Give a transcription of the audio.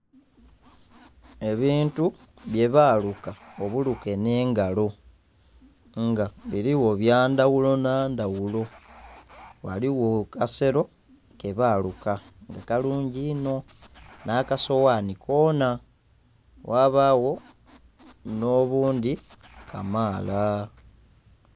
Ebintu byebaluka obuluke n'engalo nga biriwo byandhaghulo nhandhaghulo ghaligho akasero kebaluka nga kalungi inho nh'akasowani kona, ghabagho n'obundhi kamala.